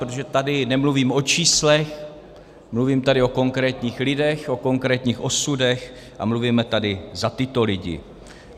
Protože tady nemluvím o číslech, mluvím tady o konkrétních lidech, o konkrétních osudech a mluvíme tady za tyto lidi.